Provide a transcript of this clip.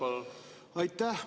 Aitäh!